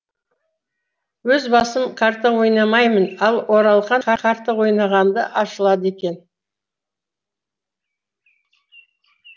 өз басым карта ойнамаймын ал оралхан карта ойнағанда ашылады екен